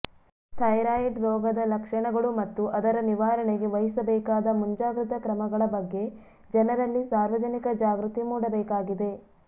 thyroid ರೋಗದ ಲಕ್ಷಣಗಳು ಮತ್ತು ಅದರ ನಿವಾರಣೆಗೆ ವಹಿಸಬೇಕಾದ ಮುಂಜಾಗ್ರತಾ ಕ್ರಮಗಳ ಬಗ್ಗೆ ಜನರಲ್ಲಿ ಸಾರ್ವಜನಿಕ ಜಾಗೃತಿ ಮೂಡಬೇಕಾಗಿದೆ